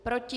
Proti?